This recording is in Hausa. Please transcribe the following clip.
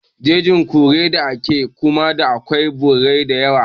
Jejin kore ta ke kuma da akwai birrai da yawa